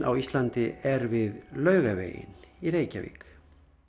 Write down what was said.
á Íslandi er við Laugaveginn í Reykjavík